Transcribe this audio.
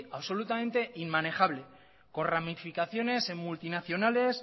absolutamente inmanejable con ramificaciones en multinacionales